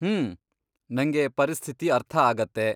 ಹ್ಮ್, ನಂಗೆ ಪರಿಸ್ಥಿತಿ ಅರ್ಥ ಆಗತ್ತೆ.